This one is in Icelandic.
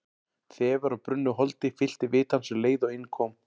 Þefur af brunnu holdi fyllti vit hans um leið og inn kom.